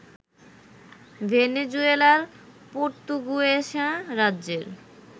ভেনেজুয়েলার পর্তুগুয়েসা রাজ্যের